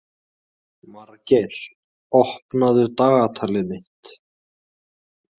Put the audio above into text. Margeir, opnaðu dagatalið mitt.